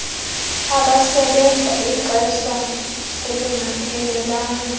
abasebenza ixesha elingaphelelanga